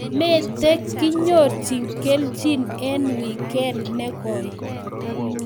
mete kenyorchi kelchin eng wikend ne koi